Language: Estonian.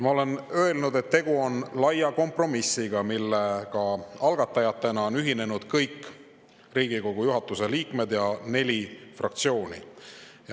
Ma olen öelnud, et tegu on laia kompromissiga, millega on algatajatena ühinenud kõik Riigikogu juhatuse liikmed ja ka neli fraktsiooni.